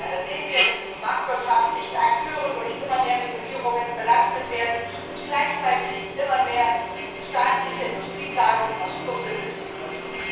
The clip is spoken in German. Leider sehen wir, dass die marktwirtschaftlichen Akteure durch immer mehr Regulierungen belastet werden und gleichzeitig immer mehr staatliche Industrieplanung aus Brüssel betrieben wird.